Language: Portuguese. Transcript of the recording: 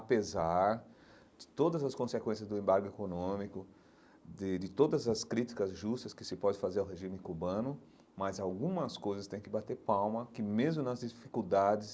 de todas as consequências do embargo econômico, de de todas as críticas justas que se pode fazer ao regime cubano, mas algumas coisas tem que bater palma, que mesmo nas dificuldades,